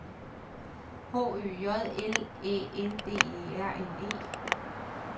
H Ø J L Æ N D E R N E